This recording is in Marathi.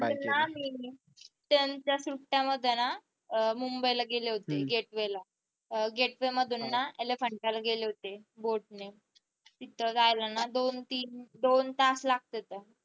त्यांच्या सुट्ट्या होत्या ना अह मुंबईला गेले होते gate way ला gate way ना elephant टाला गेले होते boat ने तिथं जायला ना दोन तीन दोन तास लागतात.